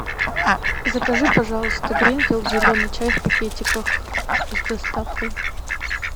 закажи пожалуйста гринфилд зеленый чай в пакетиках с доставкой